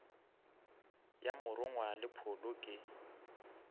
ya morongwa le pholo ke